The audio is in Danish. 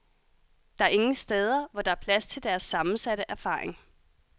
Der er ingen steder, hvor der er plads til deres sammensatte erfaring.